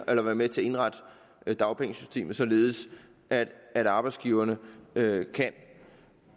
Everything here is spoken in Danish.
eller være med til at indrette dagpengesystemet således at at arbejdsgiverne kan